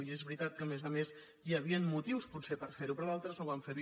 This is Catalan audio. i és veritat que a més a més hi havien motius potser per fer ho però d’altres no van fer ho